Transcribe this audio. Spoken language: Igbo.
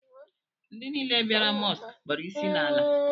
Ndị niile bịara Mọsk kpọrọ ịsị n'ala